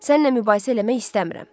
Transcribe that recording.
Səninlə mübahisə eləmək istəmirəm.